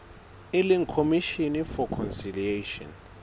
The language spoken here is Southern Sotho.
e leng commission for conciliation